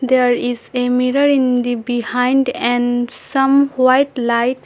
There is a mirror in the behind and some white lights.